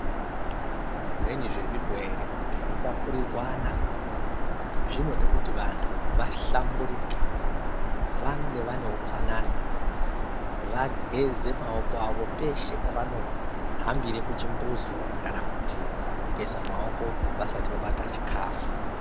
Zvimweni zvezvirwere zvinotapurirwana zvinode kuti vantu vahlamburike vange vaneutsanana vageze maoko avo peshe pavanohambire kuchimbuzi kana kuti kugeza maoko vasati vabata chikafu.